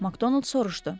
Makdonald soruşdu.